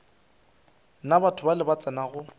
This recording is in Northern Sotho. na batho bale ba tsenago